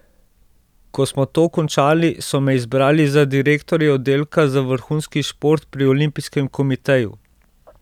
Ko smo to končali, so me izbrali za direktorja oddelka za vrhunski šport pri olimpijskem komiteju.